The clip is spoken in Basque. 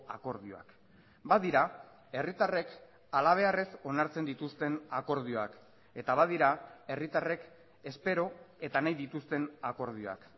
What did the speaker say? akordioak badira herritarrek halabeharrez onartzen dituzten akordioak eta badira herritarrek espero eta nahi dituzten akordioak